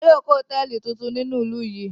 Wọn yóò ko hotẹẹli titun ni ninu ilu yi.